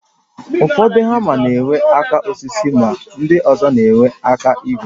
Ụfọdụ hama na enwe aka osisi ma ndị ọzọ na-enwe aka ígwè